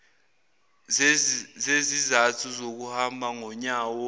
zezizathu zokuhamba ngonyawo